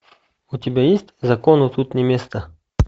у тебя есть закону тут не место